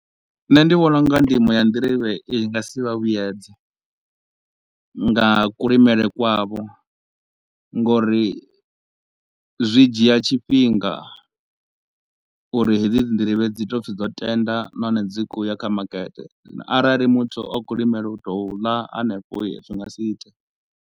Nṋe ndi vhona u nga ndimo ya nḓirivhe i nga si vha vhuyedze nga kulimele kwavho ngauri zwi dzhia tshifhinga uri hedzi dzi nḓirivhe dzi tou pfi dzo tenda nahone dzi kho u ya kha makete na arali muthu a kho u limela u tou ḽa hanefho zwi nga si ite.